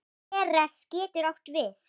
Ceres getur átt við